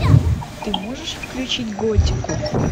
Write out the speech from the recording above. ты можешь включить готику